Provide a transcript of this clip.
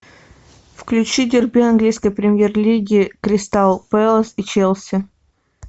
включи дерби английской премьер лиги кристал пэлас и челси